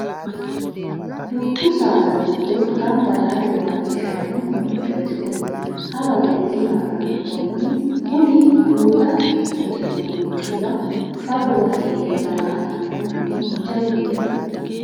Dubbu saada giddo gamba yaate waajjishano moichoti kuni hawa gede dimaranni koni budda quxi'no moichiwa fafowa heere daa"attano manni jawu heerano.